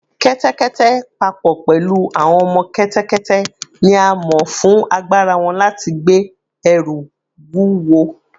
Kẹ́tẹ́kẹ́tẹ́, pa pọ̀ pẹ̀lú àwọn ọmọ kẹ́tẹ́kẹ́tẹ́, ni a mọ̀ fún agbára wọn láti gbé ẹrù wúwo